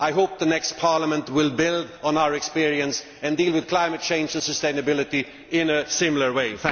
I hope the next Parliament will build on our experience and deal with climate change and sustainability in a similar way.